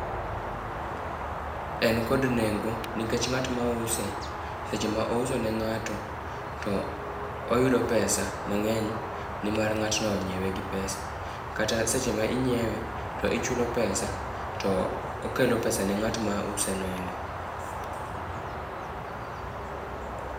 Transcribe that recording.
En kod nengo nikech ng'at mause seche ma ouso ne ng'ato oyudo pesa mang'eny nimar ng'atno onyiewe gi pesa. Kata seche ma inyiewe to ichulo pesa to okelo pesa ne ng'at mauseno endo.